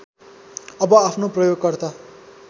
अब आफ्नो प्रयोगकर्ता